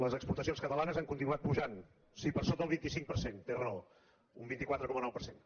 les exportacions catalanes han continuat pujant sí per sota el vint cinc per cent té raó un vint quatre coma nou per cent